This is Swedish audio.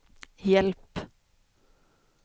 hjälp